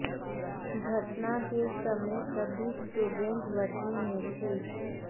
घटना के समय सभी स्टूडेंट वर्दी में थे